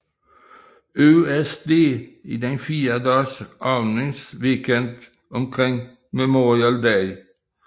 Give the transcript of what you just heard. USD i den fire dages åbningsweekend omkring Memorial Day